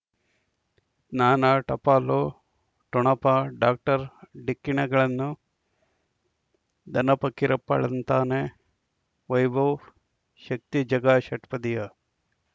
ಜ್ಞಾನ ಟಪಾಲು ಠೊಣಪ ಡಾಕ್ಟರ್ ಢಿಕ್ಕಿ ಣಗಳನು ಧನ ಫಕೀರಪ್ಪ ಳಂತಾನೆ ವೈಭವ್ ಶಕ್ತಿ ಝಗಾ ಷಟ್ಪದಿಯ